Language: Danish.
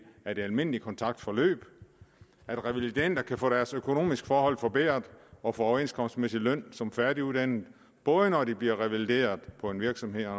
af det almindelige kontaktforløb at revalidender kan få deres økonomiske forhold forbedret og få overenskomstmæssig løn som færdiguddannede både når de bliver revalideret på en virksomhed og